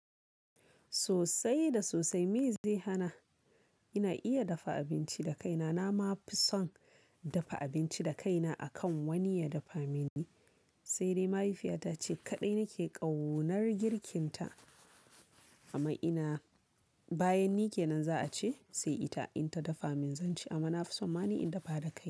Sosai da sosai, me zai hana ina iya dafa abinci da kaina? Na ma fi son dafa abinci da kaina akan wani ya dafa mini. Sai dai mahaifiyata ce kaɗai nake ƙaunar girkinta. Amma ina, bayan ni ke nan za a ce sai ita, in ta dafa min zan ci. Amma na fi son mani in dafa da kaina.